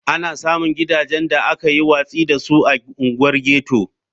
Ana samun gidajen da aka yi watsi da su a unguwar ghetto.